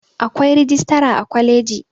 Akwai rijistara a kwaliji